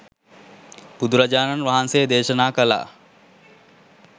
බුදුරජාණන් වහන්සේ දේශනා කළා